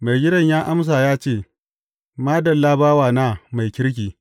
Maigidan ya amsa ya ce, Madalla, bawana mai kirki!